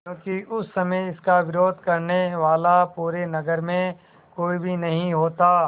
क्योंकि उस समय इसका विरोध करने वाला पूरे नगर में कोई भी नहीं होता